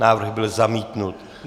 Návrh byl zamítnut.